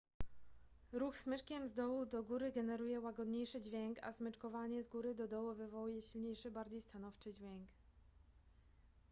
ruch smyczkiem z dołu do góry generuje łagodniejszy dźwięk a smyczkowanie z góry do dołu wywołuje silniejszy bardziej stanowczy dźwięk